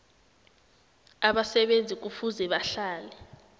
abasebenzi kufuze bahlale